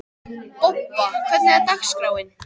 Bobba, hvernig er dagskráin?